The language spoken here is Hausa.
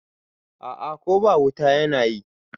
A'a Ko ba wuta yana yi